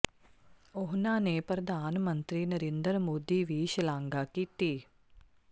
ਉਨ੍ਹਾਂ ਨੇ ਪ੍ਰਧਾਨ ਮੰਤਰੀ ਨਰਿੰਦਰ ਮੋਦੀ ਵੀ ਸ਼ਲਾਘਾ ਕੀਤੀ